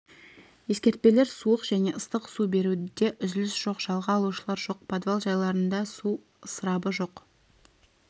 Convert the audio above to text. ескертпелер суық және ыстық су беруде үзіліс жоқ жалға алушылар жоқ подвал жайларында су ысырабы жоқ